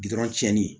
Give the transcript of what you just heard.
Bi dɔrɔn tiɲɛni